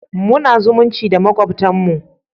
Muna zumunci da makwabtar mu da